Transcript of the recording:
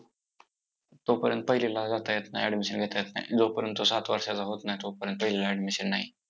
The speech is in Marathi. तोपर्यंत पहिलीला जाता येत नाही. admission घेता येत नाही, जोपर्यंत तो सात वर्षाचा होत नाही, तोपर्यंत पहिलीला admission नाही!